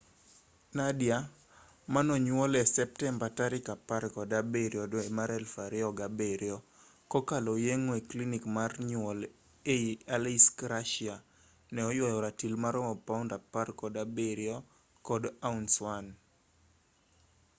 nadia manonyuol e septemba 17,2007 kokalo yeng'o e klinik mar nyuol ei aleisk russia ne oywayo ratil maromo paund 17 kod ounce 1